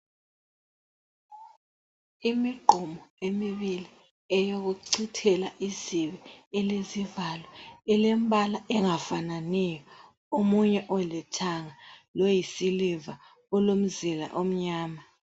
Imigqomo emibili eyokuchithela izibi elezivalo, elembala engafananiyo. Omunye ulithanga loyisiliva olomzila omnyama.